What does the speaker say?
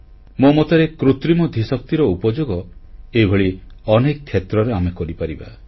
ମୋ ମତରେ କୃତ୍ରିମ ଧୀଶକ୍ତିର ଉପଯୋଗ ଏଭଳି ଅନେକ କ୍ଷେତ୍ରରେ ଆମେ କରିପାରିବା